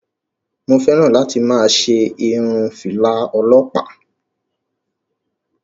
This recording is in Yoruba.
Mo fẹ́ràn láti máa ṣe irun fìlà ọlọpa.